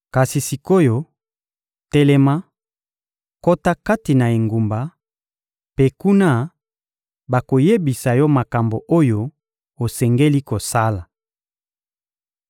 Kasi sik’oyo, telema, kota kati na engumba, mpe, kuna, bakoyebisa yo makambo oyo osengeli kosala.